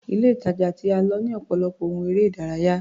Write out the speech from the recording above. Ile-ìtàjà tí a lọ ní ọ̀pọ̀lọpọ̀ ohun eré-ìdárayá.